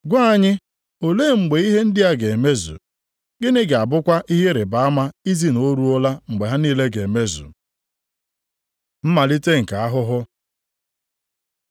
“Gwa anyị, olee mgbe ihe ndị a ga-emezu? Gịnị ga-abụkwa ihe ịrịbama izi na o ruola mgbe ha niile ga-emezu?” Mmalite nke ahụhụ